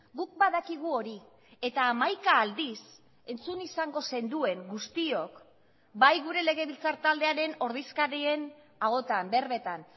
guk badakigu hori eta hamaika aldiz entzun izango zenduen guztiok bai gure legebiltzar taldearen ordezkarien ahotan berbetan